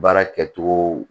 Baara kɛcogo